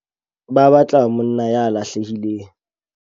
Ba batla monna ya lahlehileng.